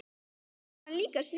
Amma var líka sniðug.